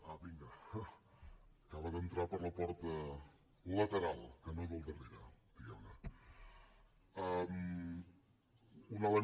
vinga acaba d’entrar per la porta lateral que no del darrere diguem ne